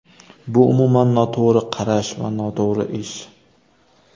Bu umuman noto‘g‘ri qarash va noto‘g‘ri ish.